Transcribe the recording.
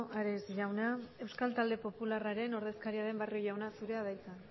ares jauna euskal talde popularraren ordezkaria den barrio jauna zurea da hitza